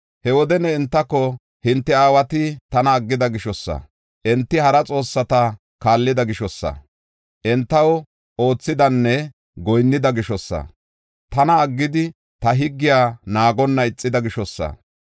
He wode ne entako; “Hinte aawati tana aggida gishosa, enti hara xoossata kaallida gishosa, entaw oothidanne goyinnida gishosa, tana aggidi ta higgiya naagonna ixida gishosa.